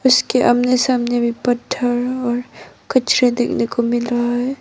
इसके आमने सामने भी पत्थर और कचरे देखने को मिल रहा है।